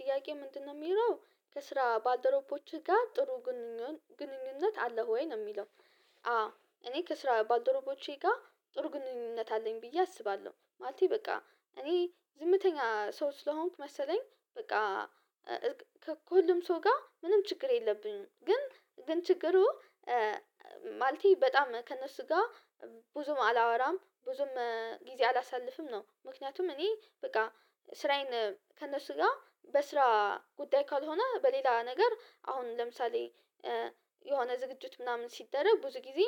ጥያቄ ምንድነው የሚለው ከስራ ባልደረቦችህ ጋር ጥሩ ግንኙነት አለው ወይ ነው የሚለው? አዎ እኔ ከስራ ባልደረቦቼ ጋር ጥሩ ግንኙነት አለኝ ብዬ አስባለሁ ማለቴ በቃ እኔ ዝምተኛ ሰው ስለሆንኩ መሰለኝ በቃ ከሁሉም ሰው ጋር ምንም ችግር የለብኝም ግን ግን ችግሩ ማለቴ በጣም ከእነሱ ጋር ብዙም አላወራም ብዙም ጊዜ አላሳልፍም ነው ምክንያቱም እኔ በቃ ስራዬን ከእነሱ ጋር በስራ ጉዳይ ካልሆነ በሌላ ነገር አሁን ለምሳሌ የሆነ ዝግጅት ምናምን ሲደረግ ብዙ ጊዜ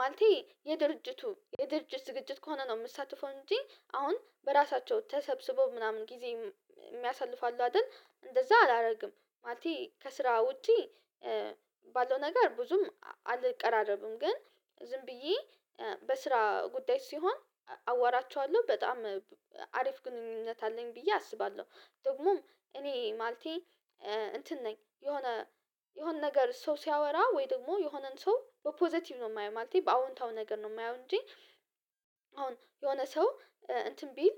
ማለቴ የድርጅቱ የድርጅት ዝግጅት ከሆነ ነው የምትሳተፈው እንጂ አሁን በራሳቸው ተሰብስበው ምናምን ጊዜ የሚያሳልፋሉ አይደል እንደዛ አላደርግም ማለቴ ከስራ ውጪ ባለው ነገር ብዙም አልቀራረብም ግን ዝም ብዬ በስራ ጉዳይ ሲሆን አወራቸዋለሁ በጣም አሪፍ ግንኙነት አለኝ ብዬ አስባለሁ። ደግሞም እኔ ማለቴ እንትን ነኝ የሆነ ነገር ሰው ሲያወራ ወይ ደግሞ የሆነን ሰው በፖዘቲቭ ነው የማየው ማለቴ በአዎንታዊ ነገር ነው የማየው እንጂ አሁን የሆነ ሰው እንትን ቢል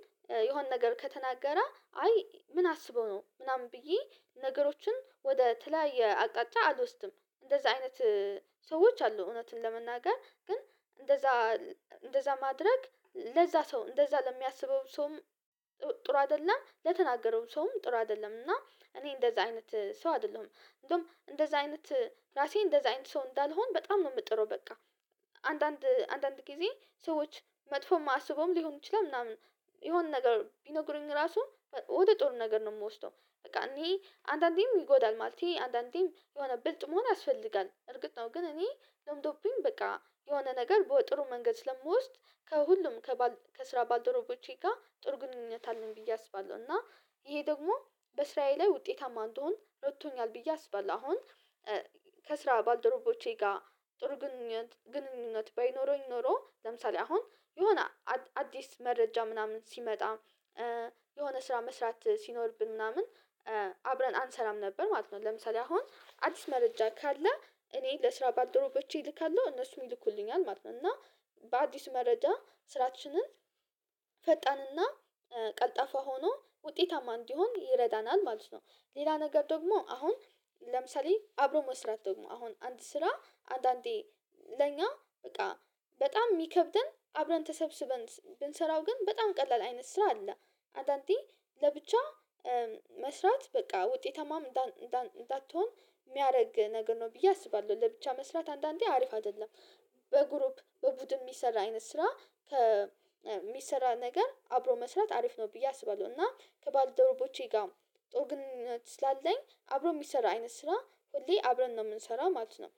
የሆነ ነገር ከተናገረ አይ ምን አስበው ነው ምናምን ብዬ ነገሮችን ወደ ተለያየ አቅጣጫ አልወስድም። እንደዛ አይነት ሰዎች አሉ እውነትን ለመናገር ግን እንደዛ እንደዛ ማድረግ ለዛ ሰው እንደዛ ለሚያስበው ሰውም ጥሩ አይደለም ለተናገረው ሰውም ጥሩ አይደለም እና እኔ እንደዛ አይነት ሰው አይደለሁም። እንደውም እንደዛ አይነት ራሴ እንደዛ አይነት ሰው እንዳልሆን በጣም ነው የምጥረው በቃ አንዳንድ አንዳንድ ጊዜ ሰዎች መጥፎ የማስበውም ሊሆን ይችላል ምናምን የሆነ ነገር ቢነግሩኝ ራሱ ወደ ጥሩ ነገር ነው የምወስደው በቃ እኔ አንዳንዴም ይጎዳል ማለት ነው። አንዳንዴም የሆነ ብልጥ መሆን ያስፈልጋል እርግጥ ነው ግን እኔ ለምዶብኝ በቃ የሆነ ነገር ጥሩ መንገድ ስለምወስድ ከሁሉም ከስራ ባልደረቦቼ ጋር ጥሩ ግንኙነት አለኝ ብዬ አስባለሁ እና ይሄ ደግሞ በስራየ ላይ ውጤታማ አንድሆን እረድቶኛል ብዬ አስባለሁ። አሁን ከስራ ባልደረቦቼ ጋር ጥሩ ግንኙነት ባይኖረኝ ኖሮ ለምሳሌ አሁን የሆነ አዲስ መረጃ ምናምን ሲመጣ የሆነ ስራ መስራት ሲኖርብን ምናምን አብረን አንሰራም ነበር ማለት ነው። ለምሳሌ አሁን አዲስ መረጃ ካለ እኔ ለስራ ባልደረቦቼ እልካለሁ እነሱም ይልኩልኛል ማለት ነው እና በአዲስ መረጃ ስራችንን ፈጣንና ቀልጣፋ ሆኖ ውጤታማ እንዲሆን ይረዳናል ማለት ነው። ሌላ ነገር ደግሞ አሁን ለምሳሌ አብሮ መስራት ደግሞ አሁን አንድ ስራ አንዳንዴ ለኛ በቃ በጣም የሚከብደን አብረን ተሰብስበን ብንሰራው ግን በጣም ቀላል አይነት ስራ አለ አንዳንዴ ለብቻ መስራት በቃ ውጤታማም እንዳትሆን የሚያደርግ ነገር ነው ብዬ አስባለሁ። ለብቻ መስራት አንዳንዴ አሪፍ አይደለም በግሩፕ በቡድን የሚሰራ አይነት ስራ ከሚሰራ ነገር አብሮ መስራት አሪፍ ነው ብዬ አስባለሁ። እና ከባለደረቦቼ ጋር ጥሩ ግንኙነት ስላለኝ አብሮ የሚሰራ አይነት ስራ ሁሌ አብረን ነው የምንሰራው ማለት ነው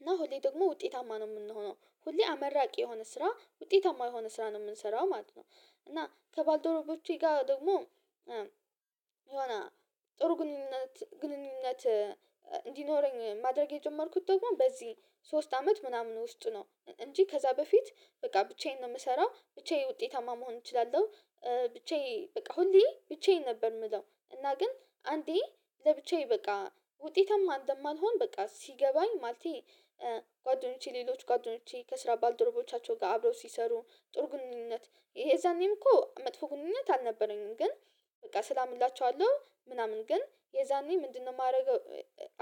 እና ሁሌ ደግሞ ውጤታማ ነው የምንሆነው ሁሌ አመርቂ የሆነ ስራ ውጤታማ የሆነ ስራ ነው የምንሰራው ማለት ነው። እና ከባልደረቦቼ ጋር ደግሞ የሆነ ጥሩ ግንኙነት ግንኙነት እንዲኖረኝ ማድረግ የጀመርኩት ደግሞ በዚህ ሶስት አመት ምናምን ውስጥ ነው እንጂ ከዛ በፊት በቃ ብቻዬን ነው የምሰራው ብቻዬን ውጤታማ መሆን እችላለሁ። ብቻዬ በቃ ሁሌ ብቻዬን ነበር የምለው እና ግን አንዴ ለብቻዬ በቃ ውጤታማ እንደማልሆን በቃ ሲገባኝ ማለቴ ጓደኞቼ ሌሎች ጓደኞቼ ከስራ ባልደረቦቻቸው ጋር አብረው ሲሰሩ ጥሩ ግንኙነት የዛኔም እኮ መጥፎ ግንኙነት አልነበረኝም ግን በቃ ሰላም እላችኋለሁ ምናምን ግን የዛኔ ምንድነው የማደርገው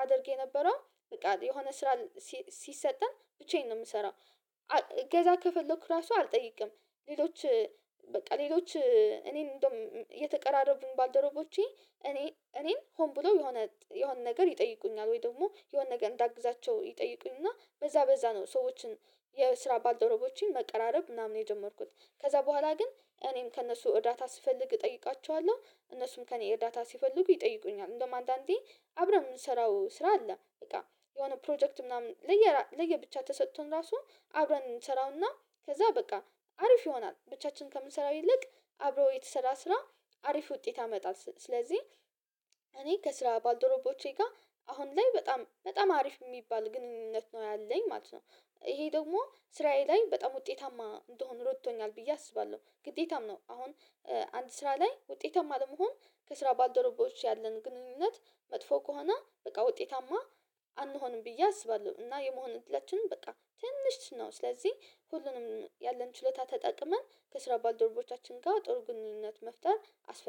አደርጌ የነበረው በቃ የሆነ ስራ ሲሰጠን ብቻዬን ነው የምሰራው። እገዛ ከፈለኩ ራሱ አልጠይቅም ሌሎች በቃ ሌሎች እኔን እንደውም እየተቀራረቡኝ ባልደረቦቼ እኔ እኔን ሆን ብሎ የሆነ የሆነ ነገር ይጠይቁኛል ወይ ደግሞ የሆነ ነገር እንዳግዛቸው ይጠይቁኝ እና በዛ በዛ ነው ሰዎችን የስራ ባልደረቦቼን መቀራረብ ምናምን የጀመርኩት ከዛ በኋላ ግን እኔም ከእነሱ እርዳታ ስፈልግ እጠይቃቸዋለሁ እነሱም ከእኔ እርዳታ ሲፈልጉ ይጠይቁኛል። እንደውም አንዳንዴ አብረን የምንሰራው ስራ አለ በቃ የሆነ ፕሮጀክት ምናምን ለየ ለየ ብቻ ተሰጥቶን ራሱን አብረን እንሰራውና ከዛ በቃ አሪፍ ይሆናል ብቻችንን ከምንሰራው ይልቅ አብረው የተሰራ ስራ አሪፍ ውጤት አመጣለሁ ስለዚህ እኔ ከስራ ባልደረቦቼ ጋር አሁን ላይ በጣም በጣም አሪፍ የሚባል ግንኙነት ነው ያለኝ ማለት ነው። ይሄ ደግሞ ስራዬ ላይ በጣም ውጤታማ እንደሆን ረድቶኛል ብዬ አስባለሁ ግዴታም ነው አሁን አንድ ስራ ላይ ውጤታማ ለመሆን ከስራ ባልደረቦች ያለን ግንኙነት መጥፎ ከሆነ በቃ ውጤታማ አንሆንም ብዬ አስባለሁ። እና የመሆን እንድላችን በቃ ትንሽ ነው ስለዚህ ሁሉንም ያለን ችሎታ ተጠቅመን ከስራ ባልደረቦቻችን ጋር ጥሩ ግንኙነት መፍጠር አስፈልጊ